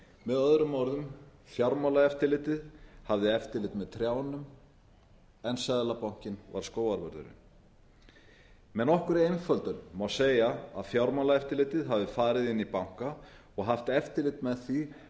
með öðrum orðum fjármálaeftirlitið hafði eftirlit með trjánum en seðlabankinn var skógarvörðurinn með nokkurri einföldun má segja að fjármálaeftirlitið hafi farið inn í banka og haft eftirlit með því